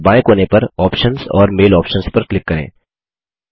ऊपर बाएँ कोने पर आप्शंस और मैल आप्शंस पर क्लिक करें